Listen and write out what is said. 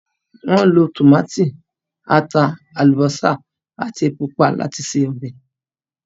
Wọ́n lo tòmátì, ata, àlùbósà àti epo pupa láti se ọbẹ̀.